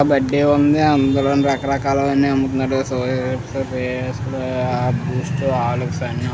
ఒక బడ్దీ ఉంది. అందులో రకరకలవన్నీ అమ్ముతున్నారు. సోప్ లు బూస్ట్ హార్లిక్స్ అన్ని అమ్ముతున్నారు.